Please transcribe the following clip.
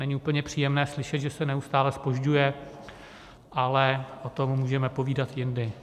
Není úplně příjemné slyšet, že se neustále zpožďuje, ale o tom můžeme povídat jindy.